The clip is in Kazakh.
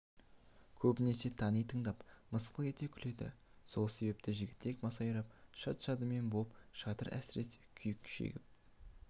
көбінесе тани тыңдап мысқыл ете күледі сол себепті жігітек масайрап шат-шадыман боп жатыр әсіресе күйік шегіп